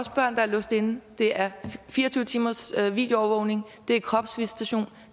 børn der er låst inde det er fire og tyve timers videoovervågning det er kropsvisitation